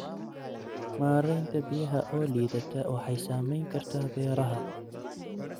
Maaraynta biyaha oo liidata waxay saamayn kartaa beeraha.